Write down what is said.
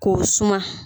K'o suma